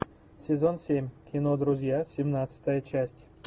сезон семь кино друзья семнадцатая часть